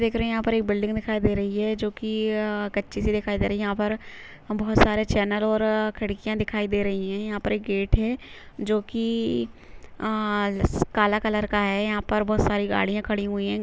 देख रहे है यहाँ पर एक बिल्डिंग दिखाई दे रही है जोकि य अ कच्ची सी दिखाई दे रही है यहाँ पर बहोत सारे चेंनल और खिड़कियां दिखाई दे रही है यहाँ पर एक गेट है जो की अ काला कलर का है यहाँ पर बहोत सारी गाड़िया खड़ी हुई है।